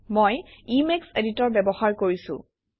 মই Emacs editor ব্যবহাৰ কৰিছোঁ